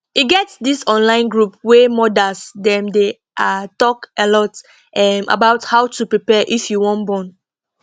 e get this online group wey modas them dey ah talk alot ehm about how to prepare if you wan born